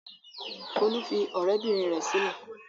Folú fi ọ̀rẹ́bìnrin rẹ̀ sílẹ̀.